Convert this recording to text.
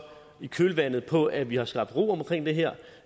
i kølvandet på at vi har skabt ro omkring det her